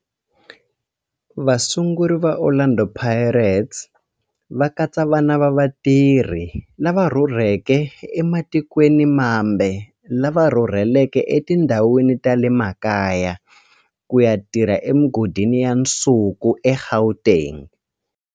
Vasunguri va Orlando Pirates va katsa vana va vatirhi lava rhurhelaka ematikweni mambe lava rhurheleke etindhawini ta le makaya ku ya tirha emigodini ya nsuku eGauteng.